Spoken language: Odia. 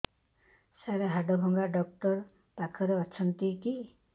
ସାର ହାଡଭଙ୍ଗା ଡକ୍ଟର ପାଖରେ ଅଛନ୍ତି କି